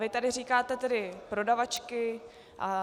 Vy tady říkáte tedy prodavačky atd.